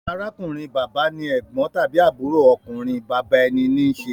Arákùnrin-bàbá ni ẹ̀gbọ́n tàbí àbúrò ọkùnrin bàbá ẹni ń ṣe.